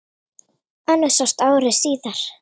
Önnur sást ári síðar.